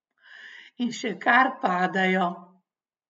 In še kar padajo.